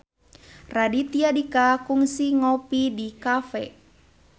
Raditya Dika kungsi ngopi di cafe